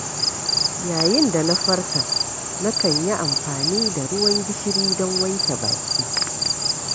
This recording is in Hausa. Yayin da na farka na kan yi amfani da ruwan gishiri don wanke baki.